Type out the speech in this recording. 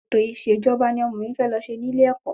Ẹ̀tọ̀ ìṣèjọba ni ọmọ mi fẹ lọ ṣe ní ilé ẹ̀kọ́